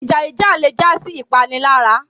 Ìjà jíjà le jásí ipanilara